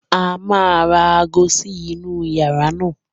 A máa ra aago sí inú yàrá náà.